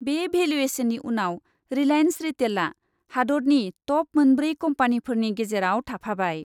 बे भेलुएसननि उनाव रिलाइन्स रिटेलआ हादतनि टप मोनब्रै कम्पानिफोरनि गेजेराव थाफाबाय।